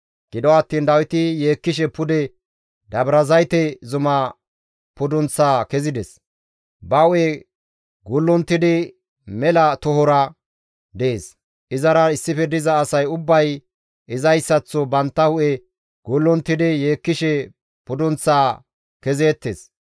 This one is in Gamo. Gido attiin Dawiti yeekkishe pude Dabrazayte zuma pudunththaa kezides; ba hu7e gullunttidi mela tohora dees; izara issife diza asay ubbay izayssaththo bantta hu7e gullunttidi yeekkishe pudunththaa kezeettes.